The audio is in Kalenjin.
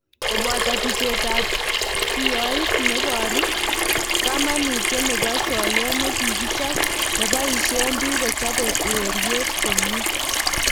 koboto tucheetab kiyooit neboruu kamanutyeet nebo soyeet nekikichop nebayisyeen biik kochape ureryeet komyee